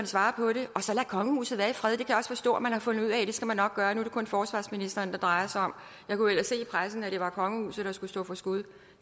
svarer på det og så lad kongehuset være i fred jeg kan også forstå at man har fundet ud af at det skal man nok gøre nu er det kun forsvarsministeren det drejer sig om jeg kunne ellers i pressen se at det var kongehuset der skulle stå for skud